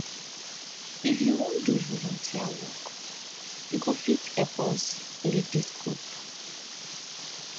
if you wan do volunteer work you go fit help us lead dis group